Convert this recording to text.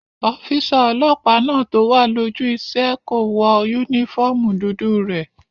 Ọ́físà ọlọ́pàá náà tó wà lójú iṣẹ́ kò wọ yúnífọ́ọ̀mù dúdú rẹ̀